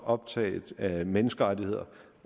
optaget af menneskerettigheder